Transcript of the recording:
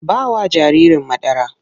Ba wa jaririn madara!